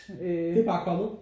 Det er bare kommet?